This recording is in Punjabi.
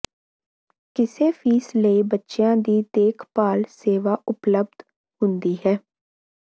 ਕਿਸੇ ਫ਼ੀਸ ਲਈ ਬੱਚਿਆਂ ਦੀ ਦੇਖਭਾਲ ਸੇਵਾ ਉਪਲਬਧ ਹੁੰਦੀ ਹੈ